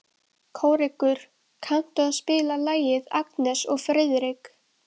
Kórekur, kanntu að spila lagið „Agnes og Friðrik“?